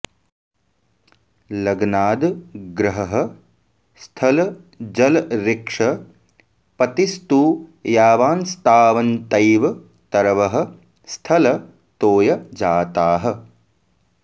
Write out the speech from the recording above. लग्नाद् ग्रहः स्थल जलऋक्ष पतिस्तु यावांस्तावन्तैव तरवः स्थल तोय जाताः